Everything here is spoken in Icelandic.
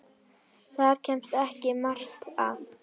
Þar kemst ekki margt að.